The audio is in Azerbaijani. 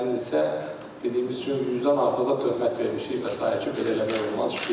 Onların bəzilərinin isə, dediyimiz kimi 100-dən artıq da töhmət vermişik və sair ki, belə eləmək olmaz.